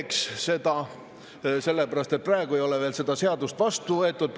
sellepärast et veel ei ole seda seadust vastu võetud.